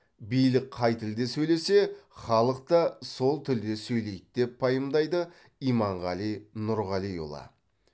билік қай тілде сөйлесе халық та сол тілде сөйлейді деп пайымдайды иманғали нұрғалиұлы